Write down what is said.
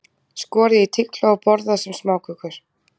Skorið í tigla og borðað sem smákökur.